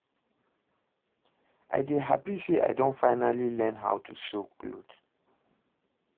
I dey happy say I don finally learn how to sew cloth